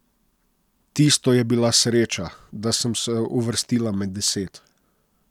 Tisto je bila sreča, da sem se uvrstila med deset.